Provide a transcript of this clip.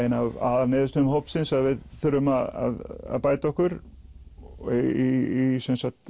ein af aðalniðurstöðum hópsins að við þurfum að bæta okkur í